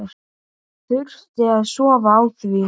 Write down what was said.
Þurfti að sofa á því.